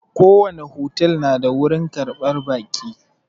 Ko wani otel na da wurin ƙarɓar baƙi